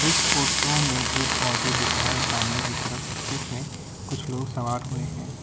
इस फोटो में एक ऑटो दिख रहा है सामने की तरफ जिसमें कुछ लोग सवार हुए हैं।